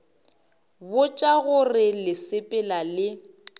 botša gore le sepela le